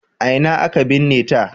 A ina aka binne ta?